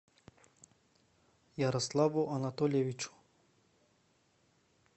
ярославу анатольевичу